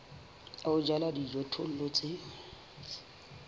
ya ho jala dijothollo tse